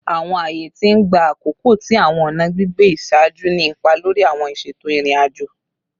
Awọn aaye ti n gba akoko ti awọn ọna gbigbe iṣaaju ni ipa lori awọn iṣeto irin-ajo